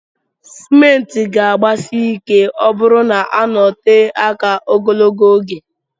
Cement ga agbasi ike ọburụ na ọnọtee aka ogologo oge.